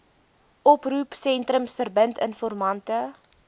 oproepsentrums verbind informante